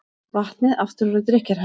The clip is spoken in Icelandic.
Vatnið aftur orðið drykkjarhæft